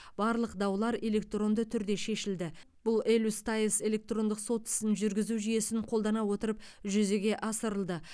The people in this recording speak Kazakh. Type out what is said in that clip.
барлық даулар электронды түрде шешілді бұл элюстайс электрондық сот ісін жүргізу жүйесін қолдана отырып жүзеге асырылды